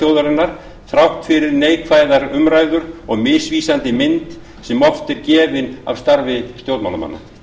þjóðarinnar þrátt fyrir neikvæða umræðu og misvísandi mynd sem oft er gefin af starfi stjórnmálamanna